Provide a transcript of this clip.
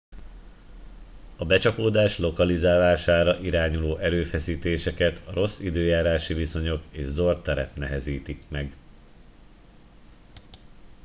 a becsapódás lokalizálására irányuló erőfeszítéseket a rossz időjárási viszonyok és zord terep nehezítik meg